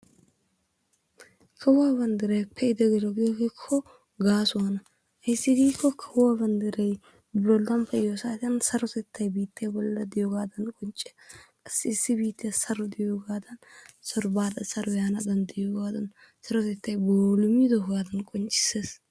Kawuwaa banddray pe'idi gelo giyooge gaasuwaana ayssi giiko kawuwaa banddray bollan pe'iyo saatiyaan sarotettay biittee bolla diyoogee qoncce. Issi issi biittiya saro diyoogadan, saro baada saro yaana danddayiyoogadan sarotettay boollimidoogadan qonccissees.